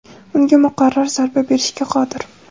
unga muqarrar zarba berishga qodir.